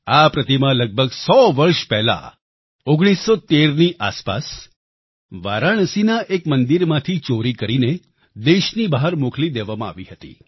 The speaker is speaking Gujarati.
આ પ્રતિમા લગભગ 100 વર્ષ પહેલા 1913ની આસપાસ વારાણસીના એક મંદિરમાંથી ચોરી કરીને દેશની બહાર મોકલી દેવાઈ હતી